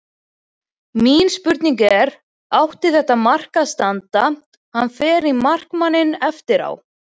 Mín spurning er: Átti þetta mark að standa, hann fer í markmanninn eftir á?